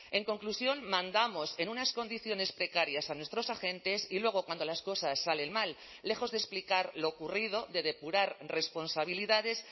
en conclusión mandamos en unas condiciones precarias a nuestros agentes y luego cuando las cosas salen mal lejos de explicar lo ocurrido de depurar responsabilidades